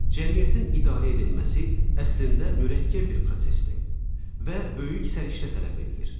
Cəmiyyətin idarə edilməsi əslində mürəkkəb bir prosesdir və böyük səriştə tələb eləyir.